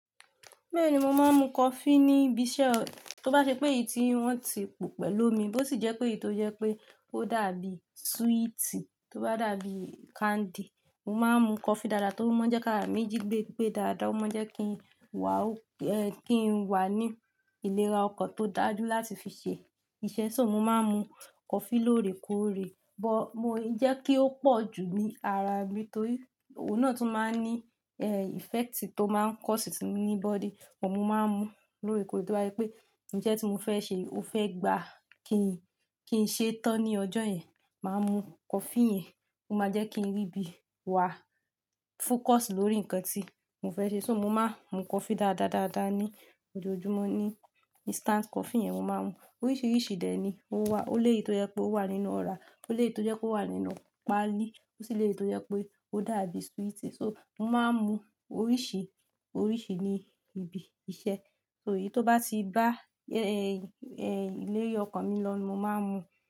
Bẹ́ẹ̀ni, mo máa ń mu coffee ní ibi iṣẹ́. Tó bá ṣe pé èyí tí wọ́n ti po pẹ̀lú omi, bó sì jẹ́ pé èyí tó jẹ́ pé ó dàbí sweetie, tó bá dàbí candy. Mo máa ń mu coffee dáadáa tó o máa ń jẹ́ káàárà mi jì gbé gbé dáadáa. Ó máa ń jẹ́ kí n wà, ẹ́, kí n wà ní ìlera ọkàn tó dájú láti fi ṣe iṣẹ́. So mo máa ń mu coffee lóore kóòre, bọ̀ mo jẹ́ kí ó pọ̀ jù ní ara mi torí ọ̀nà tó máa ń ní, ẹ́, effect tó máa ń kọ́ sí ti, ní body. Bo mọ máa ń mu lóore kóòre. To ba ye pé, ìṣẹ́ tí mo fẹ́ ṣe, ó fẹ́ gba kí n, kí n ṣe tán ní ọjọ́ yẹn. Máa mu coffee yẹn, ó máa jẹ́ kí n rí bí i wà, focus lórí nǹkan tí mo fẹ́ ṣe. So mo máa ń mu coffee dáadáa dáadáa ní ojoojúmọ́ ní, instant coffee yẹn mo máa ń mu. Oríṣiríṣi dè ẹ́ ni ó wà. Ó lè yii tó jẹ́ pé ó wà nínú ọra, ó lè tó jẹ́ pe ó wà nínú páálí, ó sì lè tó jẹ́ pé ó dàbí sweetie. So mo máa ń mu oríṣìí oríṣìí ní ibi iṣẹ́. So èyí tó bá ti bá, ẹ́, ẹ́, ilé-iyọ̀ ọkàn mi lọ̀ ni mo máa ń mu.